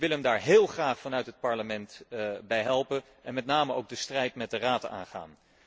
Ik wil hem daar heel graag vanuit het Parlement bij helpen en met name ook de strijd met de Raad aangaan.